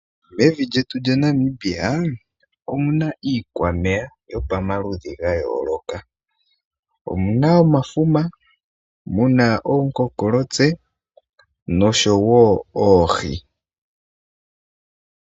Evi lyetu lyaNamibia omuna iikwameya yopamaludhi ga yooloka, omuna omafuma, omuna ookonkolotse noshowo oohi.